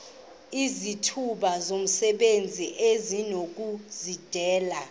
izithuba zomsebenzi esinokuzidalela